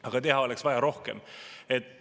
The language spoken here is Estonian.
Aga teha oleks vaja rohkem.